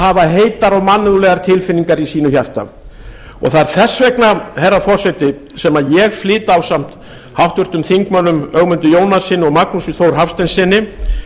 hafa heitar og mannúðlegar tilfinningar í sínu hjarta og það er þess vegna herra forseti sem ég flyt ásamt háttvirtum þingmanni ögmundi jónassyni og magnúsi þór hafsteinssyni